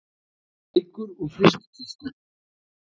Reykur úr frystikistu